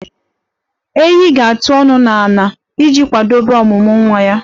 Ewii ga-atụ ọnụ n'ala iji kwadebe ọmụmụ nwa ya.